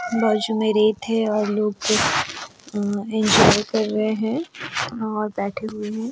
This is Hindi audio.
बजमरे थे और लोग अ एन्जॉय कर रहे है और बैठे हुए है।